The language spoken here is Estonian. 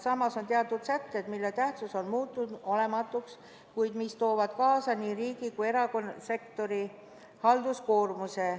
Samas on teatud sätted, mille tähtsus on muutunud olematuks, kuid mis toovad kaasa nii riigi kui ka erasektori halduskoormuse.